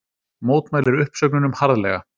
Mótmælir uppsögnunum harðlega